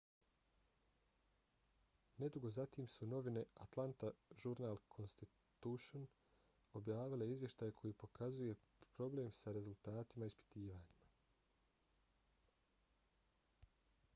nedugo zatim su novine atlanta journal-constitution objavile izvještaj koji pokazuje probleme sa rezultatima ispitivanja